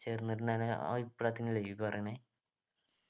ചേർന്നിട്ടുണ്ടായ ആ വിപ്ലവത്തിനെയല്ലേ നീയി പറയ്ണെ